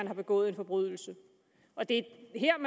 er begået en forbrydelse og det